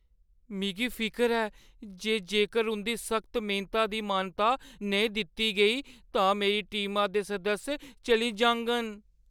मिगी फिकर ऐ जे जेकर उंʼदी सख्त मेह्‌नता गी मानता नेईं दित्ती गेई तां मेरी टीमा दे सदस्य चली जाङन।